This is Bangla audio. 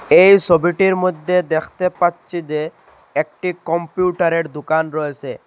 এই ছবিটির মইধ্যে দেখতে পাচ্ছি যে একটি কম্পিউটারের দুকান রয়েসে ।